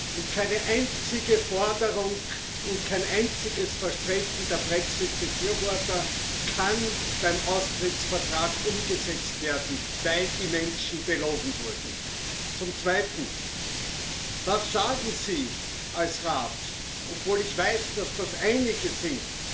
Und keine einzige Forderung und kein einziges Versprechen der Brexit Befürworter kann beim Austrittsvertrag umgesetzt werden, weil die Menschen belogen wurden. Zum Zweiten Was sagen Sie als Rat dazu obwohl ich weiß, dass das einige sind